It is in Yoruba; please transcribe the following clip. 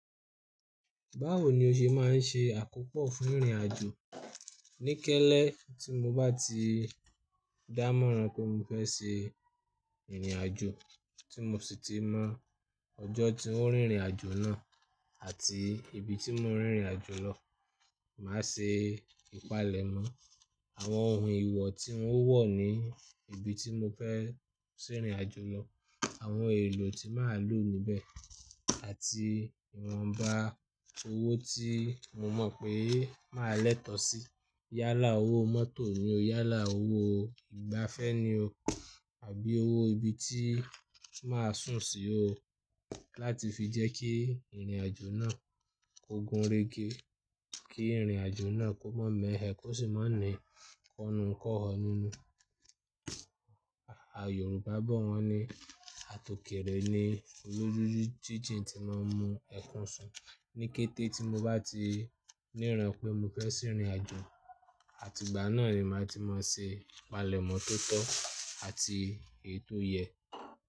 Báwo ni o ṣe máa ń ṣe àkópọ̀ fún ìrìnàjò? Ní kẹ́lẹ́ tí mo bá ti dámọ̀ran pé mo fẹ́ ṣe ìrìnàjò, tí mo sì ti mọ̀ ọjọ́ tí ń ó rìn ìrìnàjò náà àti ibi tí mo ń rìn ìrìnàjò lọ, màá ṣe ìpalẹ̀mọ́ àwọn ohun ìwọ̀ tí ń ó wọ̀ ní ibi tí mo fẹ́ ṣe ìrìnàjò lọ, àwọn èlò tí màá lò níbẹ̀ àti ìwọ̀nba owó tí mo mọ̀ pé màá lẹ́tọ́ sí. Yálà owó mọ́tò ni o, yálà owó ìgbáfẹ́ ni o àbí owó ibi tí màá sùn sí o, láti fi jẹ́ kí ìrìnàjò náà kó gunrégé, kí ìrìnàjò náà kó má mẹ́ hẹ, kó sì má ní kọnu kọ́họ́ nínú. Yorùbá bọ wọ́n ní, "àtòkèrè ni olójújíjìn tí máa ń mu ẹ̀kún sùn." Ní kété tí mo bá ti níran pé mo fẹ́ ṣe ìrìnàjò, àtìgbà náà ni màá ti máa ṣe ìpalẹ̀mọ́ tó tọ́ àti èyi tò yẹ́.